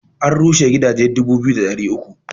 An rusa gidaje dubu biyu da ɗari uku